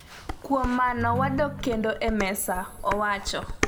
kuom mano, wadok kendo e mesa' owacho